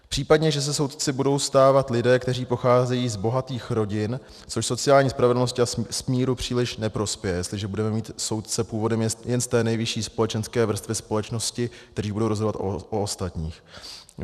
Případně že se soudci budou stávat lidé, kteří pocházejí z bohatých rodin, což sociální spravedlnosti a smíru příliš neprospěje, jestliže budeme mít soudce původem jen z té nejvyšší společenské vrstvy společnosti, kteří budou rozhodovat o ostatních.